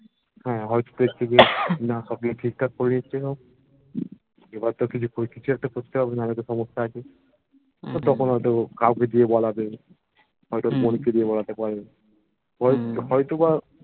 হ্যা হয়তো ঠিকঠাক করিয়ে এসেছে সব এবার তো কিছু একটা করতে হবে নাহলে সম্যসা আছে যখন হবে কাওকে দিয়ে বলাবে হয়তো বোনকে দিয়ে বোলাতে পারে হয়তো বা